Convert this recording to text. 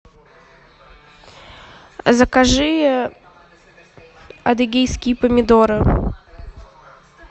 закажи адыгейские помидоры